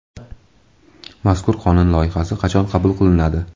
Mazkur qonun loyihasi qachon qabul qilinadi?